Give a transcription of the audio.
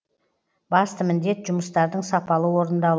басты міндет жұмыстардың сапалы орындал